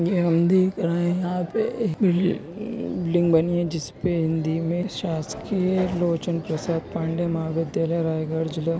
-- है यहाँ पे एक बिल्डिंग बनी है जिसपे हिंदी में शासकीय लोचन प्रसाद पांडे महाविद्यालय रायगढ़ जिला--